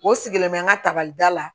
O sigilen bɛ n ka tabali da la